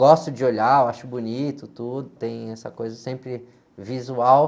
Gosto de olhar, eu acho bonito, tem essa coisa sempre visual.